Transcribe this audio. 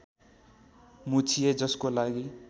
मुछिए जसको लागि